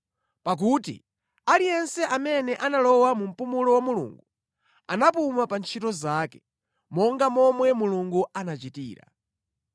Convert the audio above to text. Pakuti aliyense amene analowa mu mpumulo wa Mulungu anapuma pa ntchito zake, monga momwe Mulungu anachitira.